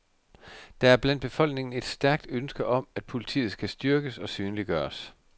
Der er blandt befolkningen et stærkt ønske om, at politiet skal styrkes og synliggøres.